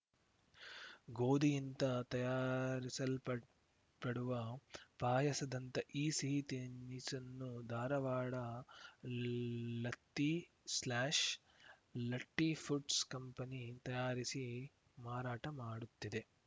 ಗೋಧಿಯಿಂದ ತಯಾರಿಸಲ್ಪಡುವ ಪಾಯಸದಂಥ ಈ ಸಿಹಿ ತಿನಿಸನ್ನು ಧಾರವಾಡ ಲತ್ತಿಸ್ಲ್ಯಾಶ್ ಲಟ್ಟಿಫುಡ್ಸ್‌ ಕಂಪೆನಿ ತಯಾರಿಸಿ ಮಾರಾಟ ಮಾಡುತ್ತಿದೆ